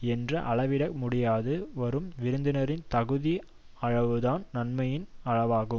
என்று அளவிட முடியாது வரும் விருந்தினரின் தகுதி அளவுதான் நன்மையின் அளவாகும்